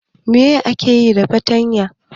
Me ake yi da fartanya?